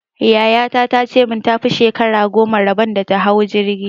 Yaya ta ta ce min ta fi shekara goma rabon ta da hawa jirgi!